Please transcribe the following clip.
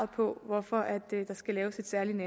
på hvorfor der skal laves et særligt